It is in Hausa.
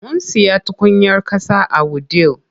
Mun siya tukunyar ƙasa a wudil.